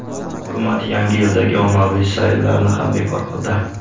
Hukumat Yangi yildagi ommaviy sayillarni ham bekor qildi.